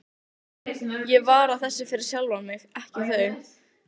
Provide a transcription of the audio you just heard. Ég var að þessu fyrir sjálfan mig, ekki þau.